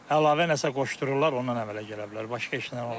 Əlavə nəsə qoşdururlar, ondan əmələ gələ bilər, başqa heç nə ola bilməz.